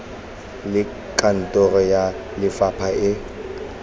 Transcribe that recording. le kantoro ya lefapha e